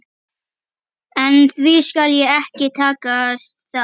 En því skal ekki takast það.